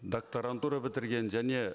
докторантура бітірген және